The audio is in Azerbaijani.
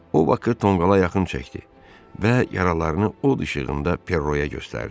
O Bakı tonqala yaxın çəkdi və yaralarını od işığında Perroya göstərdi.